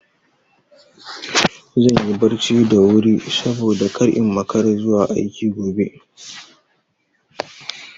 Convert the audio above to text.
Zan yi barci da wuri saboda kar in makara zuwa aiki gobe.